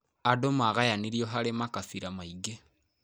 Andũ magayanirio harĩ makabira maingĩ.